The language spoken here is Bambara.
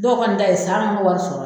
Dɔw kɔni ta ye san sɔrɔ